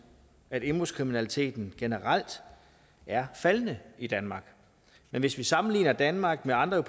at indbrudskriminaliteten generelt er faldende i danmark men hvis vi sammenligner danmark med andre